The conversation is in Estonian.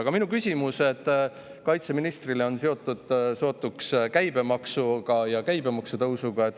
Aga minu küsimused kaitseministrile on seotud sootuks käibemaksuga ja käibemaksu tõusuga.